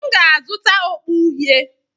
M ga-azụta okpu uhie.